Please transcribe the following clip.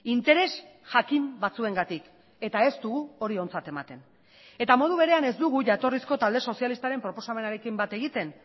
interes jakin batzuengatik eta ez dugu hori ontzat ematen eta modu berean ez dugu jatorrizko talde sozialistaren proposamenarekin bat egiten